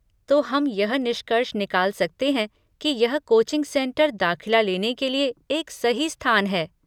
तो, हम यह निष्कर्ष निकाल सकते हैं कि यह कोचिंग सेंटर दाख़िला लेने के लिए एक सही स्थान है।